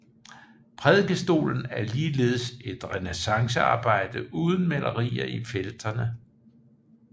Prædikestolen er ligeledes et renæssancearbejde uden malerier i felterne